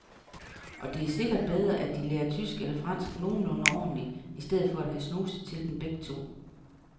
Og det er sikkert bedre, at de lærer tysk eller fransk nogenlunde ordentligt i stedet for at have snuset til dem begge to.